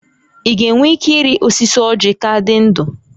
Ị ga-enwe ike ịrị osisi ọ́jị̀ ka dị ndụ?